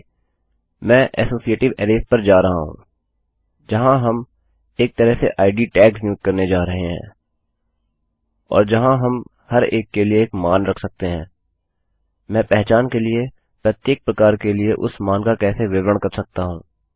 फिर भी मैं एसोसिएटिव अरैज़ पर जा रहा हूँ जहाँ हम एक तरह से इद टैग्स नियुक्त करने जा रहे हैं जहाँ हम हर एक के लिए एक मान रख सकते हैं मैं पहचान के प्रत्येक प्रकार के लिए उस मान का कैसे विवरण कर सकता हूँ